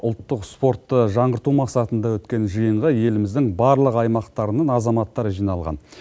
ұлттық спортты жаңғырту мақсатында өткен жиынға еліміздің барлық аймағынан азаматтар жиналған